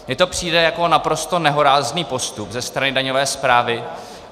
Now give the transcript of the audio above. Mně to přijde jako naprosto nehorázný postup ze strany daňové správy.